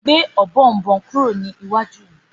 Gbé Ọ̀bọ̀ọ̀nbọọ̀n kúrò ní iwájú mí.